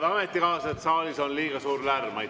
Head ametikaaslased, saalis on liiga suur lärm!